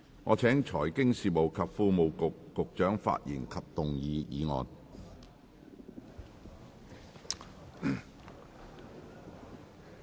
我請財經事務及庫務局局長發言及動議議案。